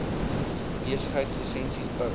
besigheids lisensies bou